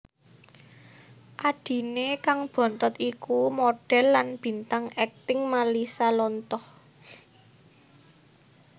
Adhiné kang bontot iku modhèl lan bintang akting Malisa Lontoh